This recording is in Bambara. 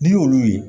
N'i y'olu ye